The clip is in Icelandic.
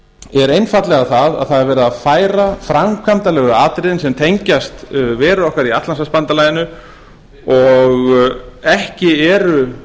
er einfaldlega að það er verið að færa framkvæmdarlegu atriðin sem tengjast veru okkar í atlantshafsbandalaginu og ekki eru